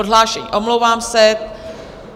Odhlášení, omlouvám se.